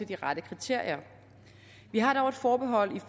de rette kriterier vi har dog et forbehold